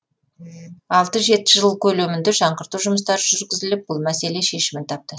алты жеті жыл көлемінде жаңғырту жұмыстары жүргізіліп бұл мәселе шешімін тапты